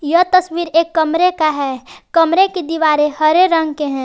यह तस्वीर एक कमरे का है कमरे की दीवारें हरे रंग के हैं।